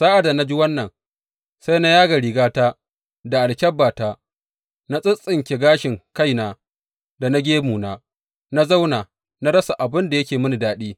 Sa’ad da na ji wannan, sai na yaga rigata da alkyabbata, na tsittsige gashin kaina da na gemuna, na zauna, na rasa abin da yake mini daɗi.